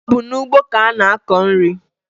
Ọ bụ n'ugbo ka a na-akọ nri.